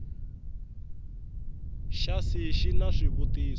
xa c xi na swivutiso